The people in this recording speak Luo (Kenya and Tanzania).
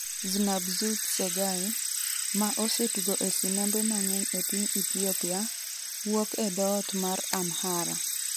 Znah-Bzu Tsegaye, ma osetugo e sinembe mang'eny e piny Ethiopia, wuok e dhoot mar Amhara.